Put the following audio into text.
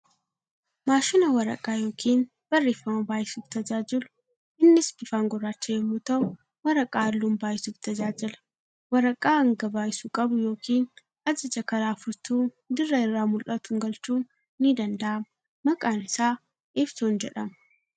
Maashina waraqaa yookiin barreeffama baay'isuuf tajaajilu. Innis bifaan gurraacha yemmuu ta'u waraqaa halluun baay'isuuf tajaajila. Waraqaa hanga baay'isuu qbu yookiin ajaja karaa furtuu dirra irraa mul'atuun galchuun ni danda'ama. Maqaan isaa eepsoon jedhama.